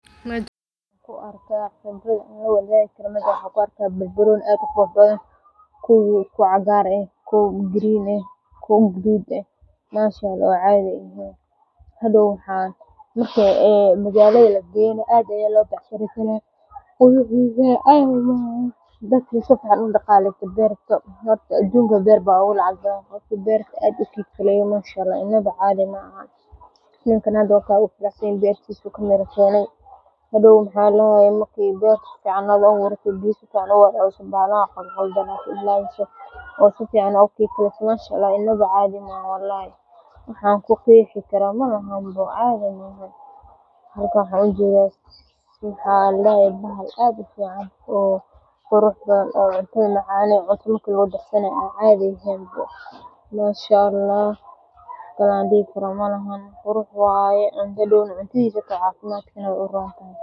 Kuuwa cagar ah kuwa green ah Qalabkan ayaa si gaar ah faa’iido ugu leh marka la beero miraha yaryar sida digirta ama masagada, iyadoo uu fududeeyo in miruhu si qoto dheer oo qumman loogu aaso si ay si wanaagsan u baxaan, oo cunadisa cafimadkaga u rontahay.